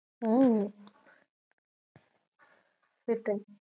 হম সেটাই